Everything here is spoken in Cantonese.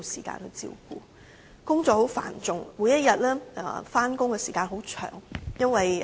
她工作繁重，每天上班時間很長。